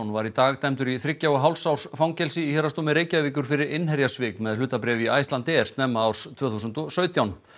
var í dag dæmdur í þriggja og hálfs árs fangelsi í Héraðsdómi Reykjavíkur fyrir innherjasvik með hlutabréf í Icelandair snemma árs tvö þúsund og sautján